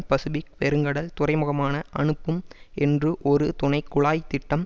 Pacific பெருங்கடல் துறைமுகமான அனுப்பும் என்றும் ஒரு துணை குழாய் திட்டம்